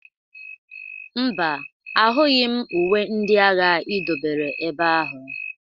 Mba, ahụghị m uwe ndị agha i dobere ebe ahụ.